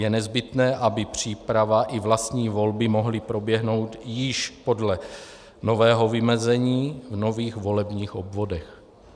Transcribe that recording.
Je nezbytné, aby příprava i vlastní volby mohly proběhnout již podle nového vymezení, v nových volebních obvodech.